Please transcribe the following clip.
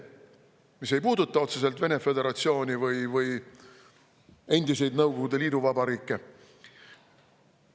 Need probleemid ei puuduta otseselt Vene föderatsiooni või endisi Nõukogude liiduvabariike.